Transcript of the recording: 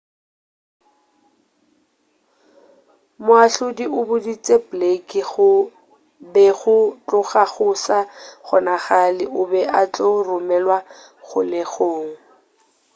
moahlodi o boditše blake go be go tloga go sa kgonagale o be a tlo romelwa kgolegong